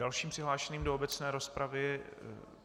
Dalším přihlášeným do obecné rozpravy...